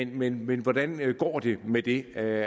men men hvordan går det med det